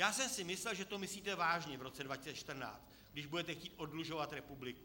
Já jsem si myslel, že to myslíte vážně v roce 2014, když budete chtít oddlužovat republiku.